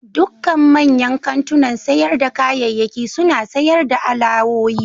Dukkan manyan kantunan sayar da kayayyaki suna sayar da alawoyi.